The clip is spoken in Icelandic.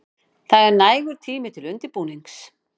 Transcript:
Það er nægur tími til undirbúnings.